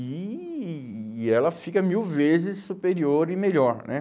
E e ela fica mil vezes superior e melhor, né?